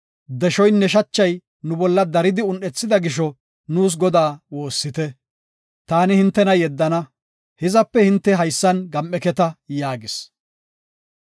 Deshoynne shachay nu bolla daridi un7ethida gisho nuus Godaa woossite. Taani hintena yeddana; hizape hinte haysan gam7eketa” yaagis.